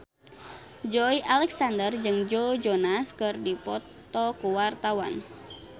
Joey Alexander jeung Joe Jonas keur dipoto ku wartawan